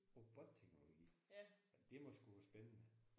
Robotteknologi? Jamen det må sgu være spændende